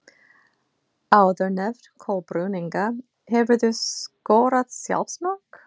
Áðurnefnd Kolbrún Inga Hefurðu skorað sjálfsmark?